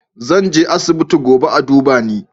Zan je asibiti gobe a duba ni